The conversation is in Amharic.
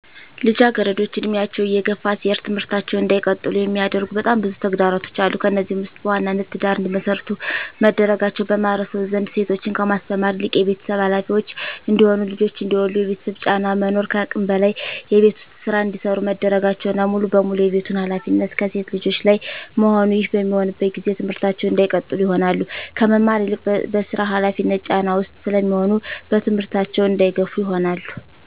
ልጃገረዶች እድሜያቸው እየገፋ ሲሄድ ትምህርታቸውን እንዳይቀጥሉ የሚያደርጉ በጣም ብዙ ተግዳሮቶች አሉ። ከነዚህም ውስጥ በዋናነት ትዳር እንዲመሰርቱ መደረጋቸው በማህበረሰቡ ዘንድ ሴቶችን ከማስተማር ይልቅ የቤተሰብ ሀላፊዎች እንዲሆኑ ልጆች እንዲወልዱ የቤተሰብ ጫና መኖር ከአቅም በላይ የቤት ውስጥ ስራ እንዲሰሩ መደረጋቸውና ሙሉ በሙሉ የቤቱን ሀላፊነት ከሴት ልጆች ላይ መሆኑ ይህ በሚሆንበት ጊዜ ትምህርታቸውን እንዳይቀጥሉ ይሆናሉ። ከመማር ይልቅ በስራ ሀላፊነት ጫና ውስጥ ስለሚሆኑ በትምህርታቸው እንዳይገፋ ይሆናሉ።